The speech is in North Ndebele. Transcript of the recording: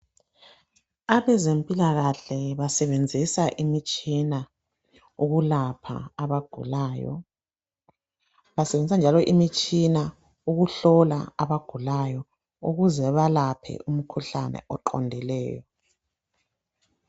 abezempilakahle basebenzisa imitshina ukulapha abagulayo basebenzisa njalo imitshina ukuhlola abagulayo ukuze ebalaphe imikhuhlane oqondileyo